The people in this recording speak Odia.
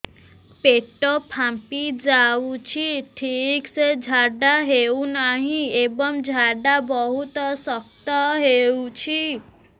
ପେଟ ଫାମ୍ପି ଯାଉଛି ଠିକ ସେ ଝାଡା ହେଉନାହିଁ ଏବଂ ଝାଡା ବହୁତ ଶକ୍ତ ହେଉଛି